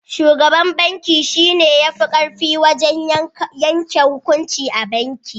Shugaban banki shi ne ya fi ƙarfi wajen yanke hukunci a banki.